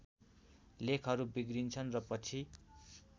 लेखहरू बिग्रिन्छन् र पछि